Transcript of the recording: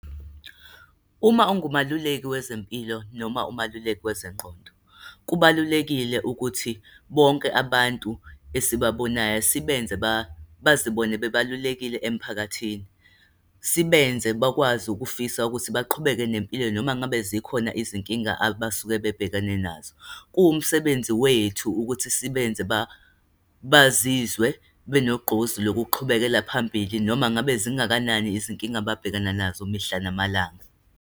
Uma ungumeluleki wezempilo noma umeluleki kwezengqondo, kubalulekile ukuthi bonke abantu esibabonayo sibenze bazibone bebalulekile emphakathini, sibenze bakwazi ukufisa ukuthi baqhubeke nempilo noma ngabe zikhona izinkinga abasuke babhekene nazo. Kuwumsebenzi wethu ukuthi sibenze bazizwe benogqozi lokuqhubekela phambili noma ngabe zingakanani izinkinga ababhekana nazo mihla namalanga.